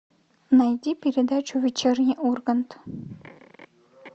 найди передачу вечерний ургант